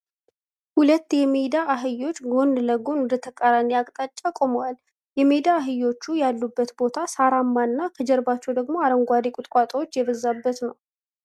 ሁለት የሜዳ አህዮች ጎን ለጎን ወደ ተቃራኒ አቅጣጫ ቆመዋል። የሜዳ አህዮቹ ያሉበት ቦታ ሳራማ እና ከጀርባቸው ደግሞ አረንጓዴ ቁጥቋጦዎች የበዛበት ነው።